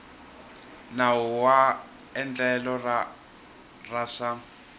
nawu wa endlelo ra swa